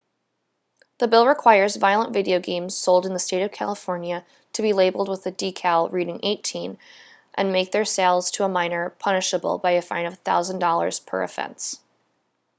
the bill requires violent video games sold in the state of california to be labeled with a decal reading 18 and makes their sale to a minor punishable by a fine of $1000 per offense